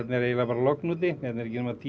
er eiginlega logn úti hérna eru ekki nema tíu